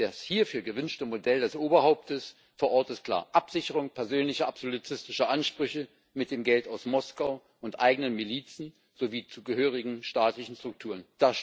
Das hierfür gewünschte Modell das Oberhauptes vor Ort ist klar Absicherung persönlicher absolutistischer Ansprüche mit dem Geld aus Moskau und eigenen Milizen sowie zugehörigen staatlichen Strukturen.